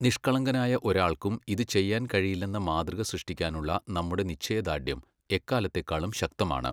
നിഷ്കളങ്കനായ ഒരാൾക്കും ഇത് ചെയ്യാൻ കഴിയില്ലെന്ന മാതൃക സൃഷ്ടിക്കാനുള്ള നമ്മുടെ നിശ്ചയദാർഢ്യം എക്കാലത്തേക്കാളും ശക്തമാണ്.